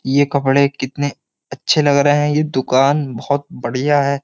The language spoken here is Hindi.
ये कपड़े कितने अच्छे लग रहे हैं। ये दुकान बोहोत बढ़िया है।